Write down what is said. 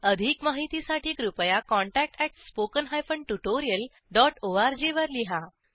अधिक माहितीसाठी कृपया contactspoken tutorialorg वर लिहा